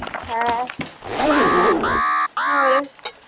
ਹੈਂ। ਹੋਰ।